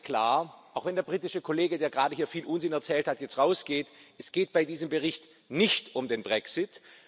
Eins ist klar, auch wenn der britische Kollege, der hier gerade viel Unsinn erzählt hat, jetzt rausgeht Es geht bei diesem Bericht nicht um den Brexit.